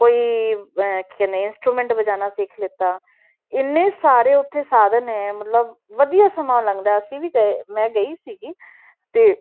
ਕੋਈ ਅਹ ਕੀ ਕਹਿੰਦੇ ਆ instrument ਬਜਾਉਣਾ ਸਿੱਖ ਲਿੱਤਾ, ਇੰਨੇ ਸਾਰੇ ਉੱਥੇ ਸਾਧਨ ਨੇ ਮਤਲਬ ਵਧੀਆ ਸਮਾਂ ਲੰਘਦਾ ਹੈ, ਅਸੀਂ ਵੀ ਗਏ, ਮੈਂ ਗਈ ਸੀਗੀ ਤੇ